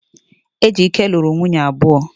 Ejike luru nwunye abuo